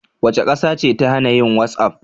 Wace ƙasa ce ta hana yin whatsapp?